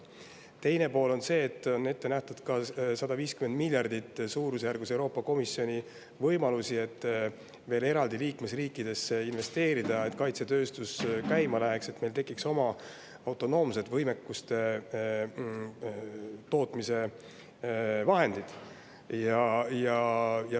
Teine pool on see, et Euroopa Komisjon on ette näinud suurusjärgus 150 miljardit, mida veel eraldi liikmesriikidesse investeerida, et kaitsetööstus käima läheks ja meil tekiks oma autonoomsed võimekuste tootmise vahendid.